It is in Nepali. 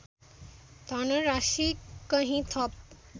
धनराशि कहीँ थप